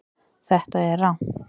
Þetta er rangt